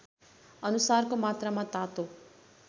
अनुसारको मात्रामा तातो